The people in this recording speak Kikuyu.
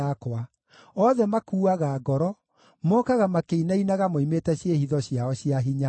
Othe makuuaga ngoro; mookaga makĩinainaga moimĩte ciĩhitho ciao cia hinya.